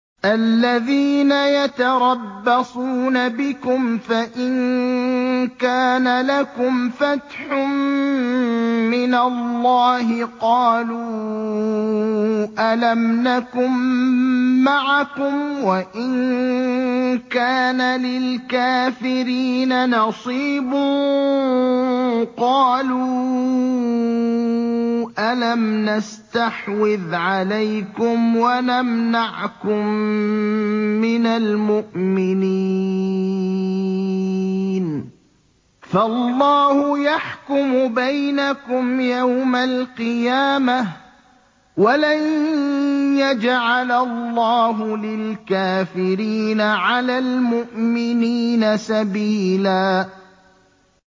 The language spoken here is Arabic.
الَّذِينَ يَتَرَبَّصُونَ بِكُمْ فَإِن كَانَ لَكُمْ فَتْحٌ مِّنَ اللَّهِ قَالُوا أَلَمْ نَكُن مَّعَكُمْ وَإِن كَانَ لِلْكَافِرِينَ نَصِيبٌ قَالُوا أَلَمْ نَسْتَحْوِذْ عَلَيْكُمْ وَنَمْنَعْكُم مِّنَ الْمُؤْمِنِينَ ۚ فَاللَّهُ يَحْكُمُ بَيْنَكُمْ يَوْمَ الْقِيَامَةِ ۗ وَلَن يَجْعَلَ اللَّهُ لِلْكَافِرِينَ عَلَى الْمُؤْمِنِينَ سَبِيلًا